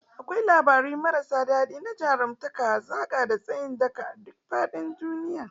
Akwai labarai marasa adadi na jarumtaka, hazaka, da tsayin daka a duk faɗin duniya.